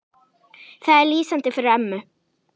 Það er lýsandi fyrir ömmu.